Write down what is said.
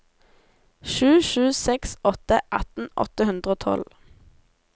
sju sju seks åtte atten åtte hundre og tolv